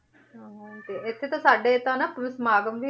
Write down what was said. ਹਾਂ ਤੇ ਇੱਥੇ ਤਾਂ ਸਾਡੇ ਤਾਂ ਨਾ ਉਰੇ ਸਮਾਗਮ ਵੀ